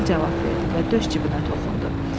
Emil cavab verdi və döş cibinə toxundu.